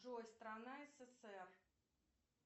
джой страна ссср